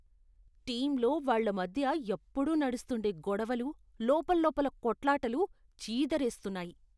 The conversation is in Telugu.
టీంలోవాళ్ళ మధ్య ఎప్పుడూ నడుస్తుండే గొడవలు, లోపల్లోపల కొట్లాటలు చీదరేస్తున్నాయి